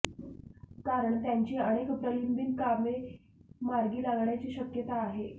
कारण त्यांची अनेक प्रलंबित कामे मार्गी लागण्याची शक्यता आहे